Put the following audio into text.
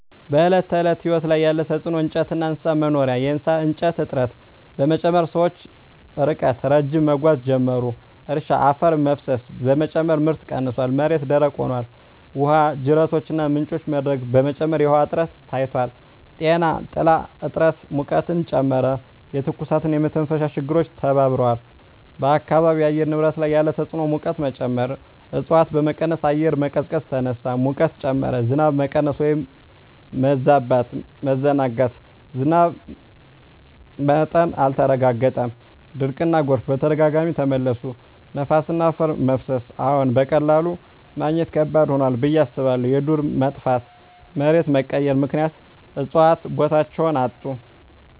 በዕለት ተዕለት ሕይወት ላይ ያለ ተጽዕኖ እንጨትና እንስሳት መኖሪያ የእሳት እንጨት እጥረት በመጨመር ሰዎች ርቀት ረዥም መጓዝ ጀመሩ። እርሻ አፈር መፍሰስ በመጨመር ምርት ቀንሷል፣ መሬት ደረቅ ሆኗል። ውሃ ጅረቶችና ምንጮች መድረቅ በመጨመር የውሃ እጥረት ታይቷል። ጤና ጥላ እጥረት ሙቀትን ጨመረ፣ የትኩሳትና የመተንፈሻ ችግሮች ተባብረዋል። በአካባቢው የአየር ንብረት ላይ ያለ ተጽዕኖ ሙቀት መጨመር እፅዋት በመቀነስ አየር መቀዝቀዝ ተነሳ፣ ሙቀት ጨመረ። ዝናብ መቀነስ/መበዛት መዘናጋት ዝናብ መጥቀስ አልተረጋገጠም፣ ድርቅና ጎርፍ በተደጋጋሚ ተመለሱ። ነፋስና አፈር መፍሰስ አዎን፣ በቀላሉ ማግኘት ከባድ ሆኗል ብዬ አስባለሁ። የዱር መጥፋትና መሬት መቀየር ምክንያት እፅዋት ቦታቸውን አጡ።